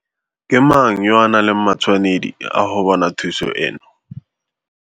Ke mang yo a nang le matshwanedi a go bona thuso eno?